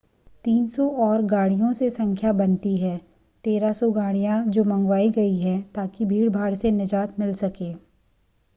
300 और गाड़ियों से संख्या बनती हैं 1,300 गाडियाँ जो मंगवाई गई हैं ै ताकिें भीड़भाड़ से निजात मिल सके।